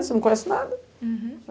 Você não conhece nada. Uhum